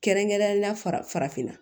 Kɛrɛnkɛrɛnnenya la farafinna